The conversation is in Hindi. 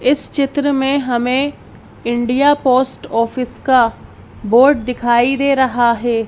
इस चित्र में हमें इंडिया पोस्ट ऑफिस का बोर्ड दिखाई दे रहा है।